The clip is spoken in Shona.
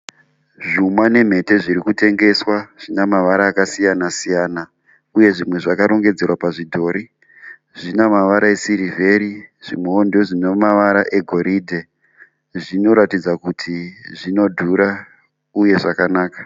Zvuma nemhete zvirikutengeswa. Zvinamavara akasiyana siyana. Uye zvimwe zvakarongedzerwa pazvidhori. Zvinamavara esirivheri, zvimwowo ndozvinamavara egoridhe. Zvinoratidza kuti zvinodhura uye zvakanaka.